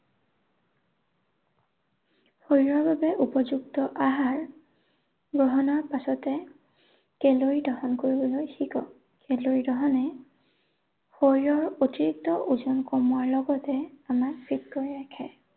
শৰীৰৰ বাবে উপযুক্ত আহাৰ গ্ৰহণৰ পাছতে কেলৰি দহন কৰিবলৈ শিকক। কেলৰি দহনে শৰীৰৰ অতিৰিক্ত ওজন কমোৱাৰ লগতে আমাক fit কৰি ৰাখে।